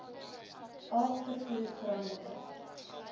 alg vervoer veranderlike